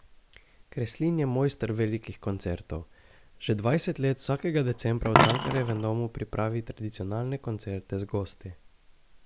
Kreslin je mojster velikih koncertov, že dvajset let vsakega decembra v Cankarjevem domu pripravi tradicionalne koncerte z gosti.